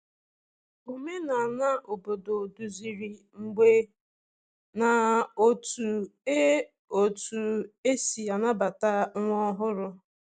Omenala obodo duziri mgbe na otú e otú e si anabata nwa ọhụrụ.